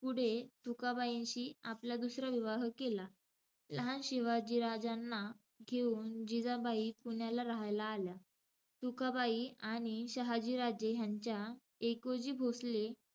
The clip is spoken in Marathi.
पुढे तुकाबाईंशी आपला दुसरा विवाह केला. लहान शिवाजीराजांना घेऊन जिजाबाई पुण्याला रहायला आल्या. तुकाबाई आणि शहाजीराजे ह्यांच्या एकोजी भोसले,